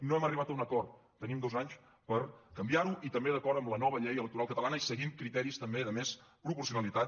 no hem arribat a un acord tenim dos anys per canviar·ho i també d’acord amb la nova llei electoral catalana i seguint criteris també de més pro·porcionalitat